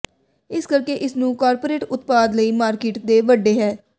ਇਸ ਕਰਕੇ ਇਸ ਨੂੰ ਕਾਰਪੋਰੇਟ ਉਤਪਾਦ ਲਈ ਮਾਰਕੀਟ ਦੇ ਵੱਡੇ ਹੈ